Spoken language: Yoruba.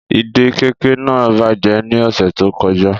Ìdè kẹ̀kẹ́ naa bajẹ ni ọsẹ to kọja.